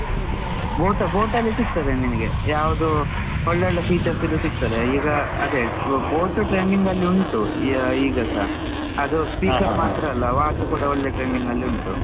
boAt boAt ಅಲ್ಲಿ ಸಿಕ್ತದೆ ನಿನ್ಗೆ. ಯಾವ್ದು ಒಳ್ಳೆ ಒಳ್ಳೆ features ಇದ್ದು ಸಿಗ್ತದೆ. ಈಗ ಅದೇ boAt trending ಅಲ್ಲಿ ಉಂಟು ಈ ಆ ಈಗಸ. ಅದು ಅಲ್ಲ watch ಕೂಡ ಒಳ್ಳೆ trending ಅಲ್ಲಿ ಉಂಟು.